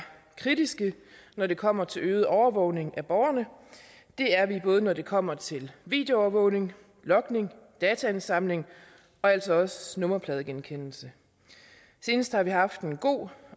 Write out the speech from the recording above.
kritiske når det kommer til øget overvågning af borgerne det er vi både når det kommer til videoovervågning logning dataindsamling og altså også nummerpladegenkendelse senest har vi haft en god